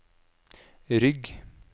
rygg